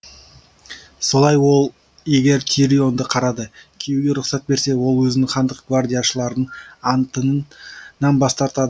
солай ол егер тирионды қарады киюге рұқсат берсе ол өзінің хандық гвардияшылардың анттынаң бас тартады